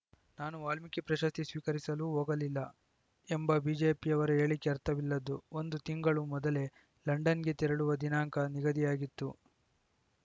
ನಾನು ವಾಲ್ಮೀಕಿ ಪ್ರಶಸ್ತಿ ಸ್ವೀಕರಿಸಲು ಹೋಗಲಿಲ್ಲ ಎಂಬ ಬಿಜೆಪಿಯವರ ಹೇಳಿಕೆ ಅರ್ಥವಿಲ್ಲದ್ದು ಒಂದು ತಿಂಗಳು ಮೊದಲೇ ಲಂಡನ್‌ಗೆ ತೆರಳುವ ದಿನಾಂಕ ನಿಗದಿಯಾಗಿತ್ತು